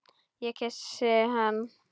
Ég kyssi hann.